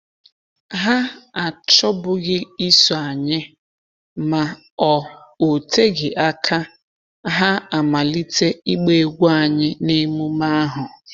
Ha achọbughị iso anyị, ma ọ oteghi aka ha a malite ịgba egwú anyị n’emume ahụ.